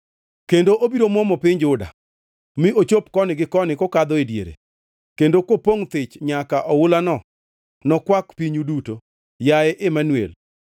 kendo obiro muomo piny Juda mi ochop koni gi koni kokadho e diere, kendo kopongʼ thich nyaka oulano nokwak pinyu duto, yaye Imanuel!”